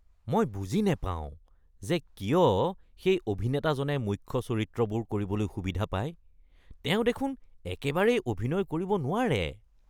মই বুজি নাপাওঁ যে কিয় সেই অভিনেতাজনে কিয় মুখ্য চৰিত্ৰবোৰ কৰিবলৈ সুবিধা পায়। তেওঁ দেখোন একেবাৰেই অভিনয় কৰিব নোৱাৰে।